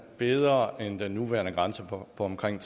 bedre end den nuværende grænse på omkring